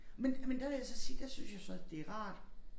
Men men der vil jeg så sige der synes jeg så det rart